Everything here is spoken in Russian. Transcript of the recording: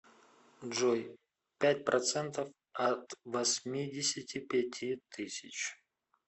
джой пять процентов от восьмидесяти пяти тысяч